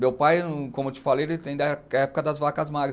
Meu pai, como eu te falei, ele tem da época das vacas magras.